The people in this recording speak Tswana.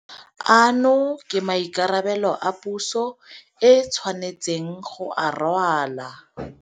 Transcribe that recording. Ano ke maikarabelo a puso e tshwanetseng go a rwala.